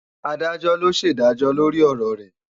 Adájọ́ ló ṣèdájọ́ lórí ọ̀rọ̀ rẹ̀